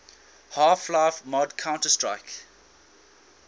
half life mod counter strike